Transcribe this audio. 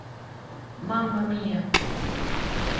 мама мия